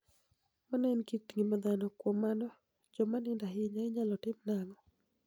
Mano eni kit nigima dhano Kuom mano, joma niinido ahiniya iniyalo timo anig'o?